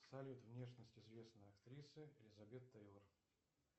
салют внешность известной актрисы элизабет тейлор